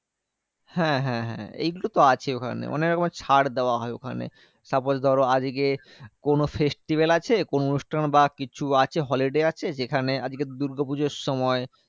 হ্যাঁ হ্যাঁ হ্যাঁ এইগুলোতো আছেই ওখানে। অনেকরকমের ছাড় দেওয়া হয় ওখানে। suppose ধরো, আজকে ওখানে কোনো festival আছে। কোনো অনুষ্ঠান বা কিছু আছে holiday আছে, যেখানে আজকে দুর্গাপুজোর সময়,